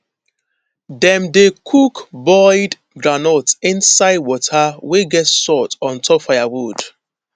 dem dey cook boiled groundnut inside water wey get salt on top firewood